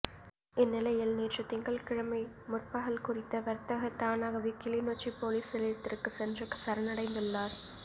இந்நிலையில் நேற்று திங்கள் கிழமைமுற்பகல் குறித்த வர்த்தகர் தானாகவே கிளிநொச்சிப் பொலிஸ்நிலையத்திற்கு சென்று சரணடைந்துள்ளாா்